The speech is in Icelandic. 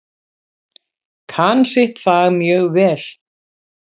Kann sitt fag mjög vel.